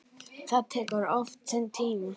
Það tekur oft sinn tíma.